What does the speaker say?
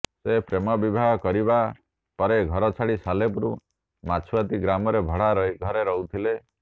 ସେ ପ୍ରେମ ବିବାହ କରିବା ପରେ ଘର ଛାଡ଼ି ସାଲେପୁର ମାଛୁଆତି ଗ୍ରାମରେ ଭଡା ଘରେ ରହୁଥିଲେ